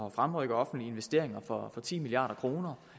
at fremrykke offentlige investeringer for ti milliard kroner